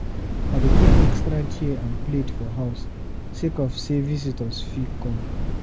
I dey keep extra chair and plate for house sake of sey visitor fit come.